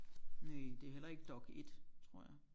Næ det er heller ikke Dokk1 tror jeg